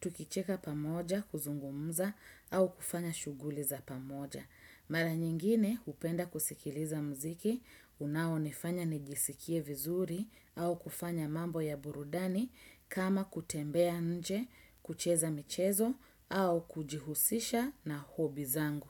Tukicheka pamoja, kuzungumza, au kufanya shughuli za pamoja. Mara nyingine, hupenda kusikiliza mziki, unaonifanya nijisikie vizuri, au kufanya mambo ya burudani, kama kutembea nje, kucheza michezo, au kujihusisha na hobi zangu.